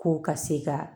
Ko ka se ka